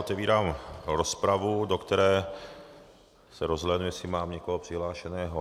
Otevírám rozpravu, do které... se rozhlédnu, jestli mám někoho přihlášeného.